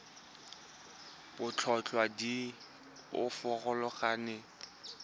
ditlhotlhwa di a farologana go